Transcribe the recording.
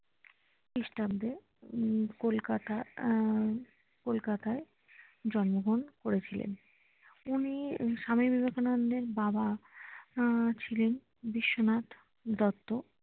খ্রিস্টাব্দে হম কোলকাতা হম কলকাতায় জন্মগ্রহণ করেছিলেন উনি স্বামী বিবেকানন্দ এর বাবা হম ছিলেন বিশ্বনাথ দত্ত